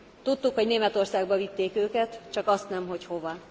Tudtuk, hogy Németországba vitték őket, csak azt nem, hogy hová.